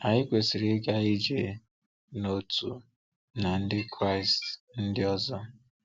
Anyị kwesịrị ịga ije n’otu na ndị Kraịst ndị ọzọ.